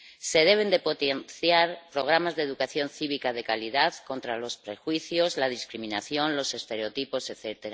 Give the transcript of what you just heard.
Se deben potenciar programas de educación cívica de calidad contra los prejuicios, la discriminación, los estereotipos, etc.